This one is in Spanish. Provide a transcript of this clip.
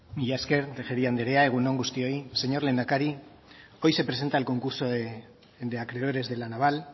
mila esker tejeria andrea egun on guztioi señor lehendakari hoy se presenta el concurso de acreedores de la naval